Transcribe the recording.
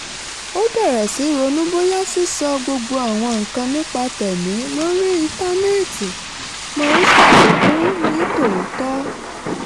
ó bẹ̀rẹ̀ sí í ronú bóyá sísọ gbogbo àwọn nǹkan nípa tẹ̀mí lórí íńtánẹ́ẹ̀tì máa ń ṣàfikún ní tòótọ́